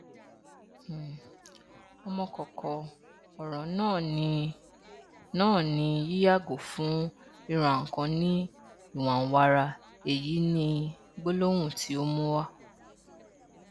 um ọmọkókó ọrọ náà ni náà ni yíyàgò fún rírannkan ní ìwànwara èyí ni gbólóhùn tí ó mú wá